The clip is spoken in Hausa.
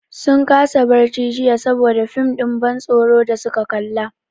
Sun kasa barci jiya saboda fim ɗin ban tsoron da su ka kalla.